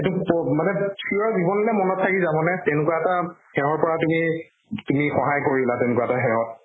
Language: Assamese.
এইটো prove মানে চিৰজীৱনলে মনত থাকি যাব নে তেনেকুৱা এটা সেহৰ পৰা তুমি তুমি সহায় কৰিলা তেনেকুৱা এটা সেহত